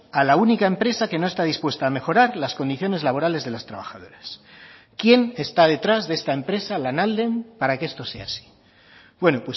a la única empresa que no está dispuesta a mejorar las condiciones laborales de las trabajadoras quién está detrás de esta empresa lanalden para que esto sea así bueno